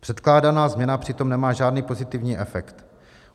Předkládaná změna přitom nemá žádný pozitivní efekt.